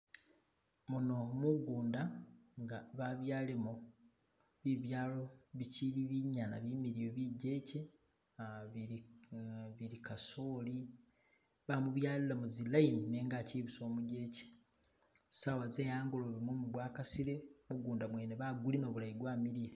Muno mugunda inga babyalemo bibyalo bichili binyana bimiliyu bijeche bili kasooli bamubyalila mu zi line nenga achili busa umujeche sawa ze hangolobe mumu gwakasile mugunda gwene bagulima bulayi gwamiliya.